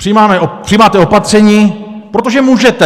Přijímáte opatření, protože můžete.